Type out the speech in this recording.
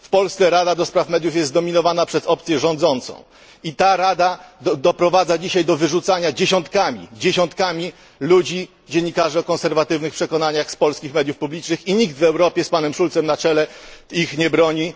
W Polsce rada do spraw mediów jest zdominowana przez opcję rządzącą i ta rada doprowadza dzisiaj do wyrzucania dziesiątkami ludzi, dziennikarzy o konserwatywnych przekonaniach z polskich mediów publicznych, i nikt w Europie, z panem Schulzem na czele, ich nie broni.